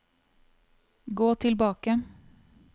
gå tilbake